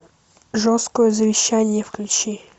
жесткое завещание включи